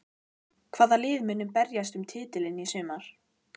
Hvaða lið munu berjast um titilinn í sumar?